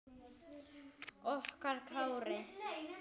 Okkar Kári.